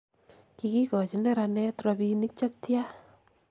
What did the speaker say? kikochi neranet robinik chetyaa?